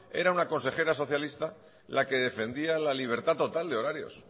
era una consejera socialista la que defendía la libertad total de horarios